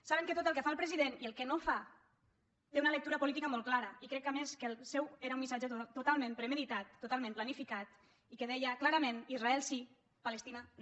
saben que tot el que fa el president i el que no fa té una lectura política molt clara i crec que a més el seu era un missatge totalment premeditat totalment planificat i que deia clarament israel sí palestina no